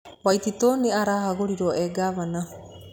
Waititu nĩ ahagũrirwo ee ngavana.